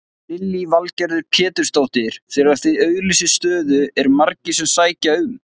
Lillý Valgerður Pétursdóttir: Þegar þið auglýsið stöðu eru margir sem sækja um?